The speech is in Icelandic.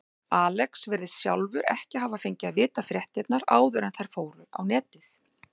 Alex virðist sjálfur ekki hafa fengið að vita fréttirnar áður en þær fóru á netið.